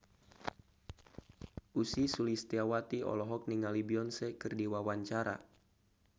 Ussy Sulistyawati olohok ningali Beyonce keur diwawancara